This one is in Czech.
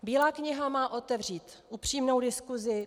Bílá kniha má otevřít upřímnou diskuzi.